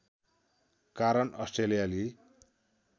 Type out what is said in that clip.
कारण अस्ट्रेलियाली